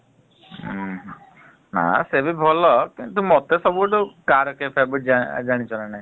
ଉ ହୁଁ ନା ସେବି ଭଲ କିନ୍ତୁ ମତେ ସବୁଠୁ ଜାଣିଛ ନା ନାଇ?